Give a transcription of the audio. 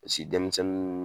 Misi denmisɛnnu